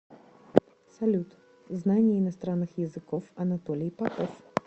салют знание иностранных языков анатолий попов